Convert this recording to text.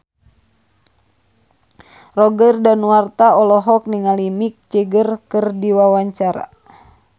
Roger Danuarta olohok ningali Mick Jagger keur diwawancara